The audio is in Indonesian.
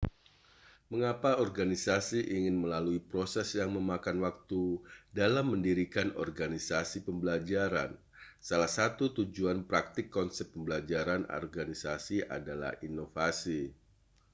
mengapa organisasi ingin melalui proses yang memakan waktu dalam mendirikan organisasi pembelajaran salah satu tujuan praktik konsep pembelajaran organisasi adalah inovasi